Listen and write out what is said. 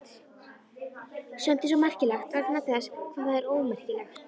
Sumt er svo merkilegt vegna þess hvað það er ómerkilegt.